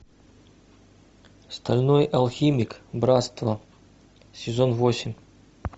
стальной алхимик братство сезон восемь